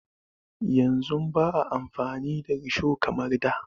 Yanzu ba a amfani da risho kamar da.